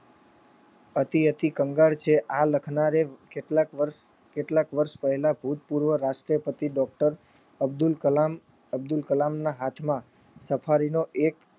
અતિ અતિ કંગાળ છે આ લખનારે કેટલાક વર્ષ કેટલાક વર્ષ પહેલા ભૂતપૂર્વ રાષ્ટ્રપતિ ડૉ. અબ્દુલ કલામ અબ્દુલ કલામના હાથમાં સફારીનો એક